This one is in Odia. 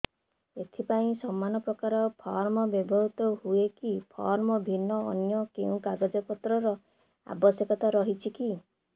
ଏଥିପାଇଁ ସମାନପ୍ରକାର ଫର୍ମ ବ୍ୟବହୃତ ହୂଏକି ଫର୍ମ ଭିନ୍ନ ଅନ୍ୟ କେଉଁ କାଗଜପତ୍ରର ଆବଶ୍ୟକତା ରହିଛିକି